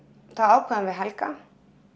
þá ákváðum við Helga